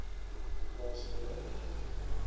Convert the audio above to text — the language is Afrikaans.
plaas skole opvoedk